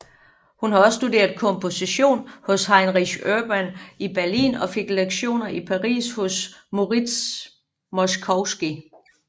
Hun har også studeret komposition hos Heinrich Urban i Berlin og fik lektioner i Paris hos Moritz Moszkowski